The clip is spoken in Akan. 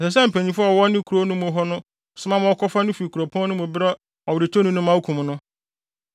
ɛsɛ sɛ mpanyimfo a wɔwɔ ne kurow no mu hɔ no soma ma wɔkɔfa no fi kuropɔn no mu brɛ ɔweretɔni no ma okum no.